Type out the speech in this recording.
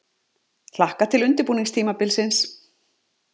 Hlakka til undirbúningstímabilsins!